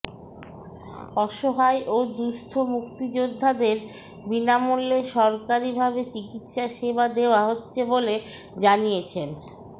অসহায় ও দুস্থ মুক্তিযোদ্ধাদের বিনামূল্যে সরকারিভাবে চিকিৎসা সেবা দেওয়া হচ্ছে বলে জানিয়েছেন